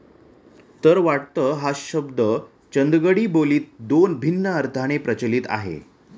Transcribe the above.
तर वाटत हा शब्द चंदगडी बो लीत दोन भिन्न अर्थाने प्रचलित आहे